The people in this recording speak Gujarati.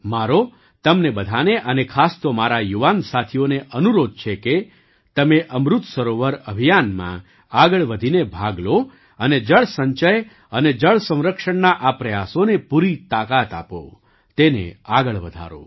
મારો તમને બધાને અને ખાસ તો મારા યુવાન સાથીઓને અનુરોધ છે કે તમે અમૃત સરોવર અભિયાનમાં આગળ વધીને ભાગ લો અને જળ સંચય અને જળ સંરક્ષણના આ પ્રયાસોને પૂરી તાકાત આપો તેને આગળ વધારો